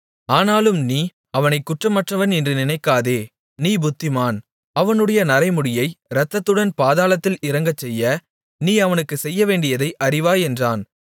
ஆனாலும் நீ அவனைக் குற்றமற்றவன் என்று நினைக்காதே நீ புத்திமான் அவனுடைய நரைமுடியை இரத்தத்துடன் பாதாளத்தில் இறங்கச்செய்ய நீ அவனுக்குச் செய்யவேண்டியதை அறிவாய் என்றான்